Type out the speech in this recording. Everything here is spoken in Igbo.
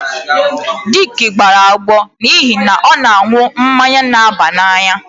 Dick gbara agbọ agbọ n'ihi na ọ na-aṅụ mmanya na-aba n'anya